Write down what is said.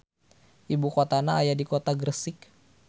Ibukotana aya di kota Gresik.